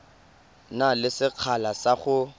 na le sekgala sa go